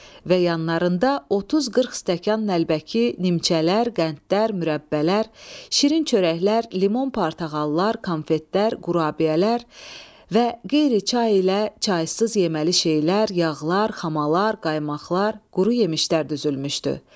Və yanlarında 30-40 stəkan, nəlbəki, nimçələr, qəndlər, mürəbbələr, şirin çörəklər, limon-portağallar, konfetlər, qurabiyələr və qeyri çay ilə çaysız yeməli şeylər, yağlar, xamalar, qaymaqlar, quru yemişlər düzülmüşdü.